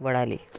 वळाले